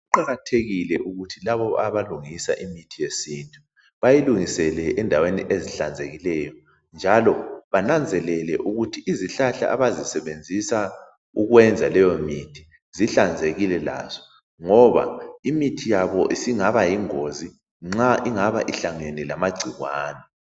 Kuqakathekile ukuthi labo abalungisa imithi yesintu bayilungisele endaweni ezihlanzekileyo. Njalo, bananzelele ukuthi izihlahla abazisebenzisa ukwenza leyo mithi zihlanzekile lazo, ngoba imithi yabo isingaba yingozi nxa ingaba ihlangene lamagcikwane.